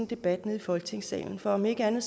debat nede i folketingssalen for om ikke andet